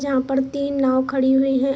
जहाँ पर तीन नाव खड़ी हुई है।